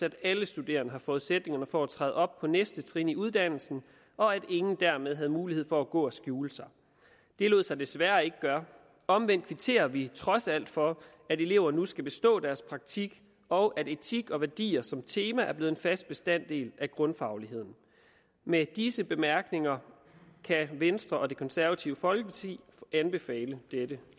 at alle studerende havde forudsætningerne for at træde op på næste trin i uddannelsen og at ingen dermed havde mulighed for at gå og skjule sig det lod sig desværre ikke gøre omvendt kvitterer vi trods alt for at elever nu skal bestå deres praktik og at etik og værdier som tema er blevet en fast bestanddel af grundfagligheden med disse bemærkninger kan venstre og det konservative folkeparti anbefale dette